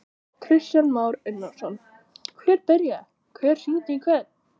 Kristján Már Unnarsson: Hver byrjaði, hver hringdi í hvern?